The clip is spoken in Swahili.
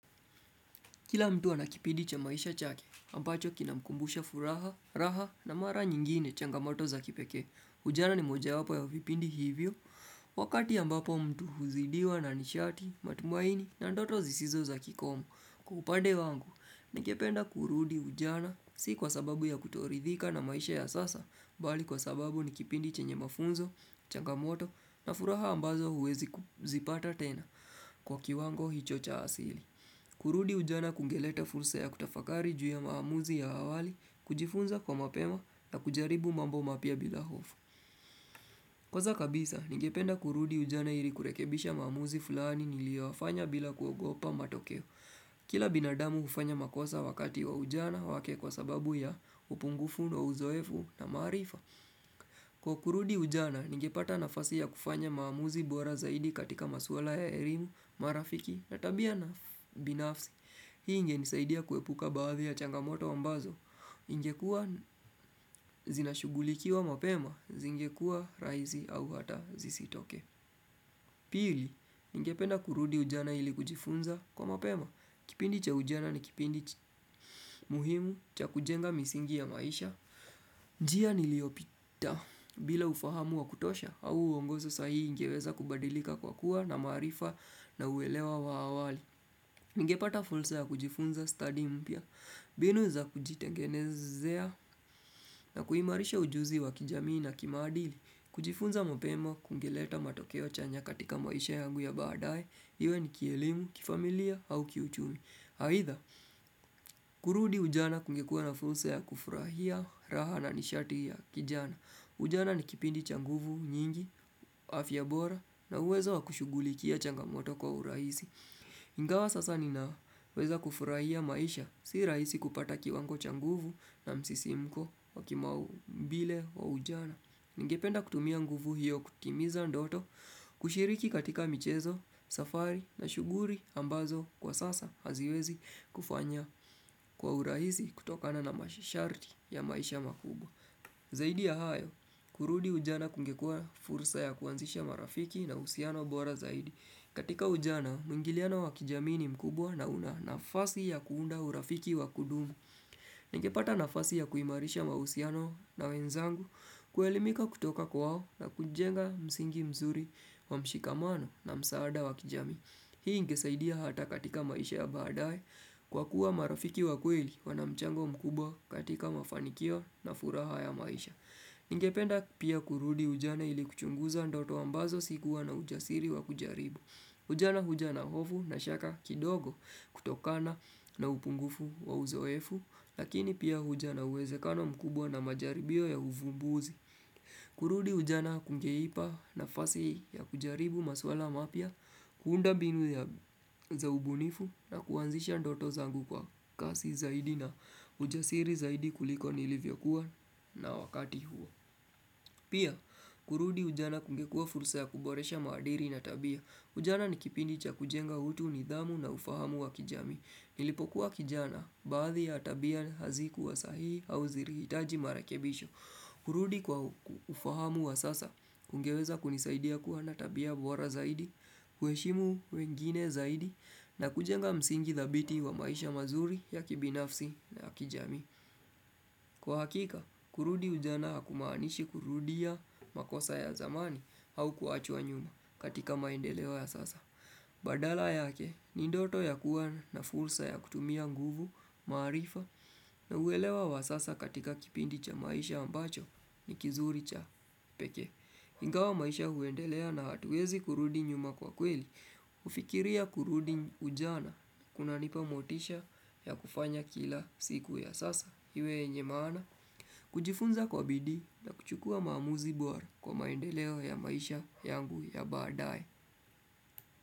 Kila mtu ana kipidi cha maisha chake, ambacho kinamkumbusha furaha, raha na mara nyingine changamoto za kipekee. Ujana ni mojawapo ya vipindi hivyo, wakati ambapo mtu huzidiwa na nishati, matumaini na ndoto zisizo za kikomu. Kwa upande wangu, ningependa kurudi ujana, si kwa sababu ya kutoridhika na maisha ya sasa, bali kwa sababu ni kipindi chenye mafunzo, changamoto na furaha ambazo uwezi kuzipata tena kwa kiwango hicho cha asili. Kurudi ujana kungeleta fursa ya kutafakari juya maamuzi ya awali, kujifunza kwa mapema na kujaribu mambo mapya bila hofu. Kwaza kabisa, ningependa kurudi ujana iri kurekebisha maamuzi fulani nilioafanya bila kuogopa matokeo. Kila binadamu ufanya makosa wakati wa ujana wake kwa sababu ya upungufu na uzoefu na maarifa. Kwa kurudi ujana, ningepata nafasi ya kufanya maamuzi bora zaidi katika masuala ya erimu, marafiki na tabia na binafsi. Hii ingenisaidia kuepuka baadhi ya changamoto ambazo, ingekuwa zinashugulikiwa mapema, zingekuwa raizi au hata zisitokee. Piri, ningependa kurudi ujana ili kujifunza kwa mapema, kipindi cha ujana ni kipindi muhimu cha kujenga misingi ya maisha. Njia niliopita bila ufahamu wa kutosha, au uongozo sa hii ngeweza kubadilika kwa kuwa na maarifa na uelewa wa awali. Ningepata fulsa ya kujifunza stadi mpya, binu za kujitengenezea na kuhimarisha ujuzi wa kijamii na kimaadili, kujifunza mopemo kungeleta matokeo chanya katika maisha yangu ya baadae, iwe ni kielimu, kifamilia au kiuchumi. Aitha, kurudi ujana kungekua na fulsa ya kufurahia, raha na nishati ya kijana. Ujana ni kipindi cha nguvu, nyingi, afya bora na uwezo wa kushugulikia changamoto kwa uraisi. Ingawa sasa ninaweza kufurahia maisha, si raisi kupata kiwango cha nguvu na msisimko wa kimaumbile wa ujana Ningependa kutumia nguvu hiyo kutimiza ndoto, kushiriki katika michezo, safari na shuguri ambazo kwa sasa haziwezi kufanya kwa uraisi kutokana na masharti ya maisha makubwa Zaidi ya hayo, kurudi ujana kungekua fursa ya kuanzisha marafiki na usiano bora zaidi katika ujana, muingiliano wa kijamii ni mkubwa na una nafasi ya kuunda urafiki wakudumu. Ningepata nafasi ya kuimarisha mausiano na wenzangu, kuelimika kutoka kwao na kujenga msingi mzuri wa mshikamano na msaada wakijamii. Hii ingesaidia hata katika maisha ya baadae kwa kuwa marafiki wa kweli wana mchango mkubwa katika mafanikio na furaha ya maisha. Ningependa pia kurudi ujana ili kuchunguza ndoto ambazo sikuwa na ujasiri wa kujaribu. Ujana huja na hofu na shaka kidogo kutokana na upungufu wa uzoefu, lakini pia huja na uwezekano mkubwa na majaribio ya uvumbuzi. Kurudi ujana kungeipa nafasi ya kujaribu maswala mapya kuunda binu ya za ubunifu na kuanzisha ndoto zangu kwa kasi zaidi na ujasiri zaidi kuliko nilivyokuwa na wakati huo Pia kurudi ujana kungekua fursa ya kuboresha maadiri na tabia Ujana ni kipindi cha kujenga utu nidhamu na ufahamu wa kijamii Nilipokuwa kijana baadhi ya tabia hazikuwa sahihi au zirihitaji marekebisho kurudi kwa ufahamu wa sasa, ungeweza kunisaidia kuwa na tabia bora zaidi, huweshimu wengine zaidi, na kujenga msingi dhabiti wa maisha mazuri ya kibinafsi na kijamii. Kwa hakika, kurudi ujana hakumaanishi kurudia makosa ya zamani au kuachwa nyuma katika maendeleo ya sasa. Badala yake ni ndoto ya kuwa na fursa ya kutumia nguvu, maarifa na uwelewa wa sasa katika kipindi cha maisha ambacho ni kizuri cha peke Ingawa maisha huendelea na hatuwezi kurudi nyuma kwa kweli kufikiria kurudi ujana kunanipa motisha ya kufanya kila siku ya sasa Iwe yenye maana, kujifunza kwa bidii na kuchukua maamuzi bora kwa maendeleo ya maisha yangu ya baadae.